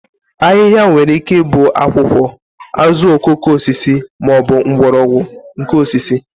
ahịhịa nwere ike ịbụ akwụkwọ, azuokokoosisi ma ọ bụ mgbọrọgwụ nke osisi